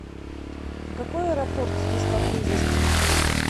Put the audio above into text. а какой аэропорт здесь поблизости